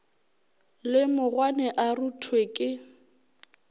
le mogwane a ruthwe ke